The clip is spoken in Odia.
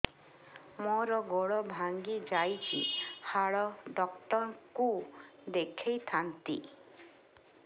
ମୋର ଗୋଡ ଭାଙ୍ଗି ଯାଇଛି ହାଡ ଡକ୍ଟର ଙ୍କୁ ଦେଖେଇ ଥାନ୍ତି